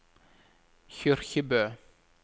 Kyrkjebø